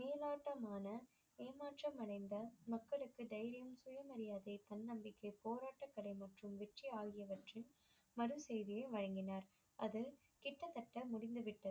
மேலோட்டமான ஏமாற்றம் அடைந்த மக்களுக்கு தைரியம் சுய மாரியாதை தன்னபிக்கை போரட்டங்களை மற்றும் வெற்றி ஆகியவற்றின் மறு செய்தியை வழங்கினர் அது கிட்டத்தட்ட முடிந்து விட்டது